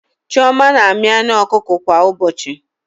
Chioma na-amị anụ ọkụkọ kwa ụbọchị